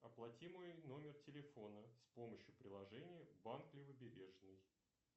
оплати мой номер телефона с помощью приложения банк левобережный